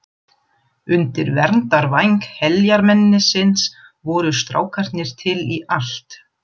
Undir verndarvæng heljarmennisins voru strákarnir til í allt.